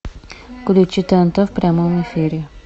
включи тнт в прямом эфире